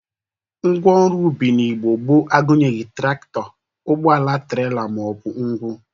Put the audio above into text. Ngwa ọrụ ubi n'Igbo gboo agụnyeghi trakịtọ, ụgbọala trela ma ọ bụ ngwụ.